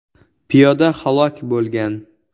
Piyoda halok bo‘lgan.